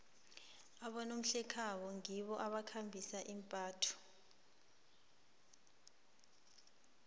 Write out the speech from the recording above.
abonomhlekhabo ngibo abakhangisa imbatho